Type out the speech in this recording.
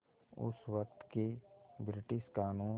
उस वक़्त के ब्रिटिश क़ानून